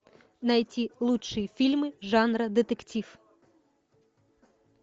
найти лучшие фильмы жанра детектив